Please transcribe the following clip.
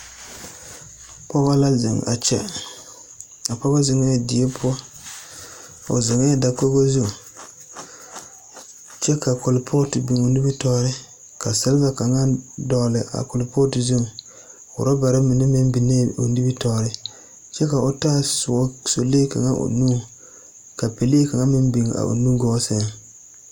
pɔge la zeŋ a kyɛ a pɔge zeŋɛɛ die poɔ. O zeŋɛɛ dakogo zu kyɛ ka kolpɔɔto biŋ o nimitɔɔreŋ. Ka salma kaŋa dɔgele a kolpɔɔte zuŋ. Orabare mine meŋ biŋee o nimtɔɔreŋ kyɛ ka o taa soɔ, sɔlee kaŋa o nuŋ, ka pelee kaŋa meŋ biŋ a o nugɔɔ seŋ.